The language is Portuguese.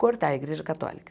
cortar a Igreja Católica.